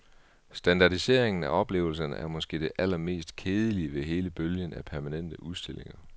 Standardiseringen af oplevelserne er måske det allermest kedelige ved hele bølgen af permanente udstillinger.